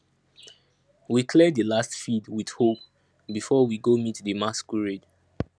we clear di last field with hoe before we go meet di masquerade